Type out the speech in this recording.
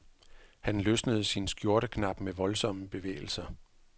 Han løsnede sin skjorteknap med voldsomme bevægelser.